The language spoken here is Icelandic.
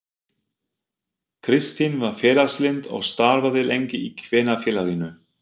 Kristín var félagslynd og starfaði lengi í Kvenfélaginu.